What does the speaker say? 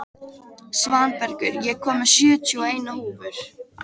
Svanbergur, ég kom með sjötíu og eina húfur!